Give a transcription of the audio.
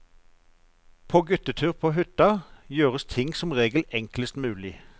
På guttetur på hytta, gjøres ting som regel enklest mulig.